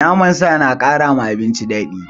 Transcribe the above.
Naman sa na kara ma abinci daɗi.